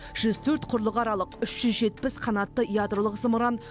жүз төрт құрлықаралық үш жүз жетпіс қанатты ядролық зымыран